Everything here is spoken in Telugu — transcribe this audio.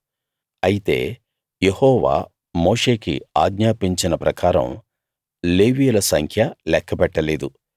అయితే యెహోవా మోషేకి ఆజ్ఞాపించిన ప్రకారం లేవీయుల సంఖ్య లెక్కపెట్టలేదు